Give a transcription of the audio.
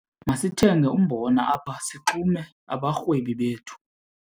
Masithenge umbona apha sixume abarhwebi bethu.